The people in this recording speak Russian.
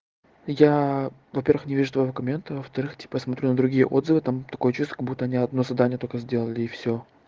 я во-первых не вижу аргументы во-вторых тебе посмотрю на другие отзывы там такое чувство как будто не одно задание только сделали и все